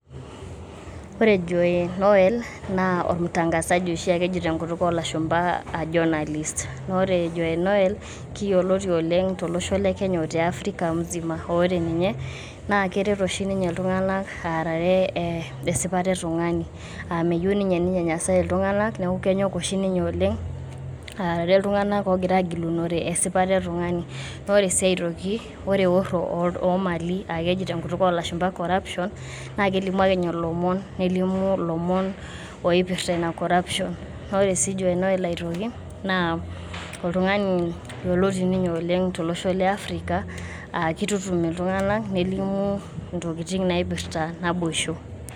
Ore joe noel naa ormurtangasaji oshiake oji tenkutuk oo lashumba journalist ore Joe Noel keyioloti oleng' tolosho lekenya ote Africa msima, ore ninye naa keret oshi ninye iltung'anak aarare esipata ebung'ani, aa meyieu oshi ninye neinyenyesae iltung'anak neaku kenyok oshi ninye aarare iltung'anak oogira aagilunore esipata etung'ani ore sii aitoki ore eorro oo iltu oo mali tenkutuk oo lashumba corruption naa kelimu ake ninye ilomon nelimu, nelimu ilomon oipirta Ina CS]corruption naa ore sii Joe Noel aitoki naa oltung'ani yioloti ninye oleng' tolosho liafrika aa keitutum iltung'anak nelimu Intokitin naipirta naboisho.